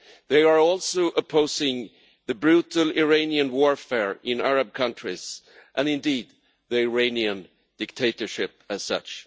They are also opposing the brutal Iranian warfare in Arab countries and, indeed, the Iranian dictatorship as such.